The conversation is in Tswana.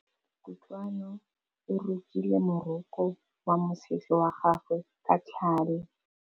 Kutlwanô o rokile morokô wa mosese wa gagwe ka tlhale.